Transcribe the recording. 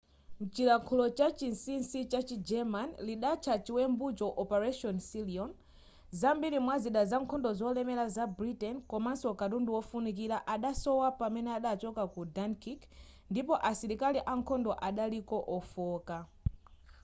mchilankhulo chachinsisi chachi german lidatcha chiwembucho operation sealion zambiri mwa zida za nkhondo zolemera za britain komanso katundu wofunikira adasowa pamene adachoka ku dunkirk ndipo asilikali ankhondo adaliko ofooka